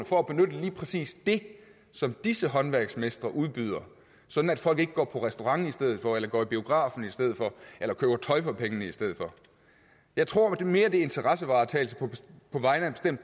for at benytte lige præcis det som disse håndværksmestre udbyder sådan at folk ikke går på restaurant i stedet for eller går i biografen i stedet for eller køber tøj for pengene i stedet for jeg tror mere en interessevaretagelse på vegne af en